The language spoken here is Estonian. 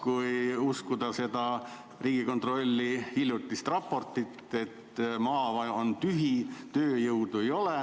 Kui uskuda Riigikontrolli hiljutist raportit, siis maa on tühi, tööjõudu ei ole.